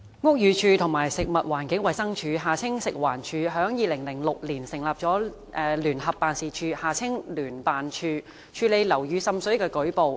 屋宇署和食物環境衞生署於2006年成立聯合辦事處，處理樓宇滲水的舉報。